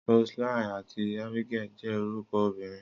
Roseline àti Abigail jẹ́ orúkọ obìnrin.